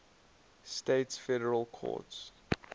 states federal courts